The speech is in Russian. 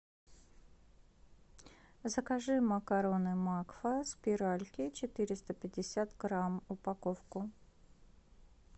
закажи макароны макфа спиральки четыреста пятьдесят грамм упаковку